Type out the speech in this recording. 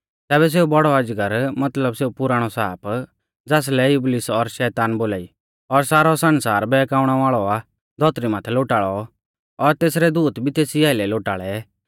तैबै सेऊ बौड़ौ अजगर मतलब सेऊ पुराणौ साप ज़ासलै इबलीस और शैतान बोलाई और सारौ सण्सार बहकाउणै वाल़ौ आ धौतरी माथै लोटाल़ौ और तेसरै दूत भी तेसी आइलै लोटाल़ै